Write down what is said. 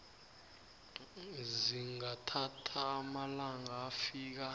zingathatha amalanga afika